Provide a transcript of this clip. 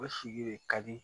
O sigi de ka di